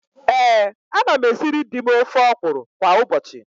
Ee, ana m esiri di m ofe ọkwụrụ kwa ụbọchị.